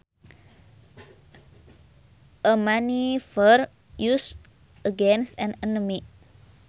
A maneuver used against an enemy